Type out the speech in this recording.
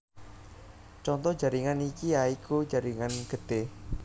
Conto jaringan iki ya iku jaringan getih